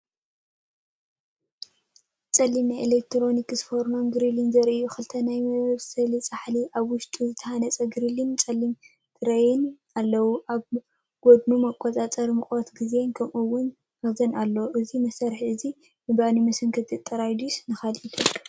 ጸሊም ናይ ኤሌክትሪክ ፎርኖን ግሪልን ዘርኢ እዩ። ክልተ ናይ ምብሳል ጻሕሊ፡ ኣብ ውሽጡ ዝተሃነጸ ግሪልን ጸሊም ትሬይን ኣለዎ። ኣብ ጎድኑ መቆጻጸሪ ሙቐትን ግዜን ከምኡ’ውን መኽዘን ኣሎ። እዚ መሳርሒ እዚ ንባኒ መሰንከቲ ጥራሕ ድዩስ ንኻሊእ ይጠቅም ?